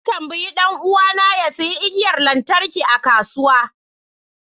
Na tambayi dan uwana ya sayi igiyar lantarki a kasuwa